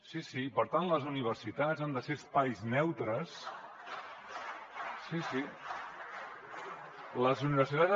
sí sí i per tant les universitats han de ser espais neutres